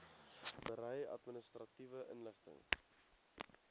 berei administratiewe inligting